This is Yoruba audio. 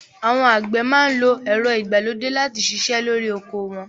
Àwọn àgbẹ̀ máa ń lo ẹ̀rọ ìgbàlódé láti ṣiṣẹ́ lórí oko wọn